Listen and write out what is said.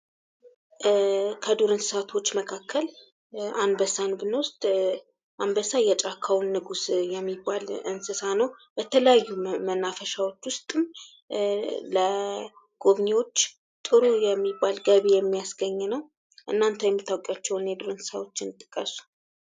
ከዱር እንስሳቶች መካከል አንበሳን ብንወስድ አንበሳ የጫካውን ንጉሥ የሚባል እንስሳ ነው። በተለያዩ መናፈሻዎች ውስጥም ለጎብኚዎች ጥሩ የሚባል ገቢ የሚያስገኝ ነው። እናንተ የማታውቋቸውን የዱር እስሳዎችን ጥቀሱ።